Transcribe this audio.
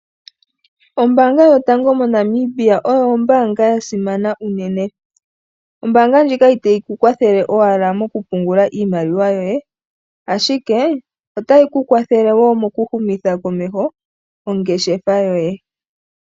Ombaanga yotango moNamibia oyo ombaanga ya simana unene. Ombaanga ndjika itayi ku kwathele owala mokupungula iimaliwa yoye ashike otayi ku kwathele wo mokuhumitha komeho ongeshefa yoye.